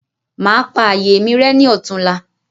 Màá pa ààyè mi rẹ́ ní ọ̀túnla.